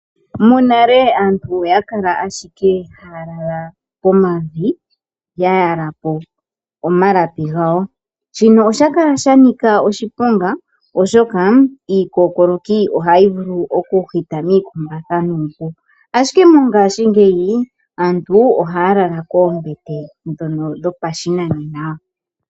Monale aantu oya kala owala haa lala pomavi shino osha kala sha Nika oshiponga oshoka miikumbatha omahu vulu okuhita, iikokokoloki ihe mongashingeyi aantu ohaa lala koombete dhopashinanena.